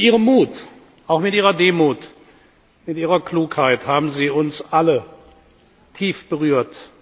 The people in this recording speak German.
Mit Ihrem Mut, auch mit Ihrer Demut und Ihrer Klugheit haben Sie uns alle tief berührt.